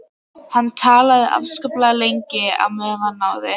Hann talaði afskaplega lengi og á meðan náði